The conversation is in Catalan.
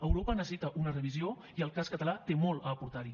europa necessita una revisió i el cas català té molt a aportar hi